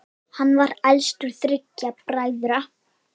Hann var elstur þriggja bræðra.